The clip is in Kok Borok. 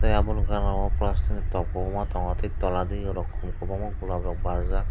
tei aboni ganao plastic ni top kwbangma tongo tei tola digi rok khum kwbangma gulab rok barjak.